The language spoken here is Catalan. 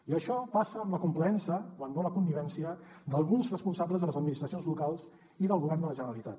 i això passa amb la complaença quan no la connivència d’alguns responsables de les administracions locals i del govern de la generalitat